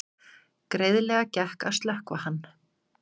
Greiðlega gekk að slökkva hann